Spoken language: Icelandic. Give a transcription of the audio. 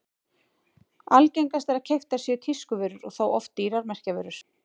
Algengast er að keyptar séu tískuvörur og þá oft dýrar merkjavörur.